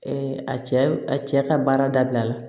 a cɛ a cɛ ka baara dabila